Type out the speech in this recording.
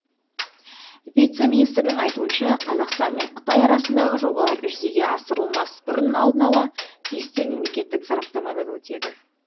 вице министрдің айтуынша қазақстан мен қытай арасындағы жобалар жүзеге асырылмас бұрын алдын ала тиісті мемлекеттік сараптамадан өтеді